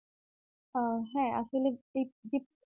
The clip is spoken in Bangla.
আহ হ্যাঁ আসলে দীপ দীপ